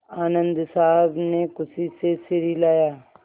आनन्द साहब ने खुशी से सिर हिलाया